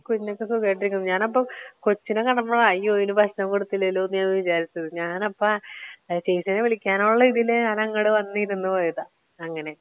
കുഞ്ഞൊക്കെ സുഖായിട്ട് ഇരിക്കുന്നു ഞാൻ ഇപ്പൊ കൊച്ചിനെ കണ്ടപ്പോഴാ അയ്യോ ഇതിന് ഭക്ഷണം കൊടുത്തില്ലല്ലോ എന്ന് വിചാരിച്ചത് ഞാൻ അപ്പൊ ചേച്ചീനെ വിളിക്കാനുള്ള ഒരു ഇതിൽ ഞാൻ അങ്ങട് വന്നു ഇരുന്ന് പോയതാ. അങ്ങനെ